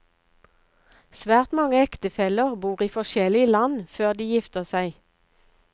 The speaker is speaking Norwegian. Svært mange ektefeller bor i forskjellige land før de gifter seg.